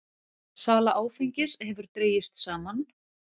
Sala áfengis hefur dregist saman